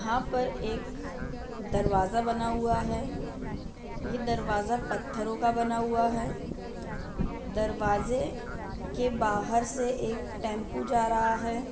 यहाँ पर एक दरवाजा बना हुआ है ये दरवाजा पत्थरों का बना हुआ है दरवाजे के बाहर से एक टेम्पो जा रहा है।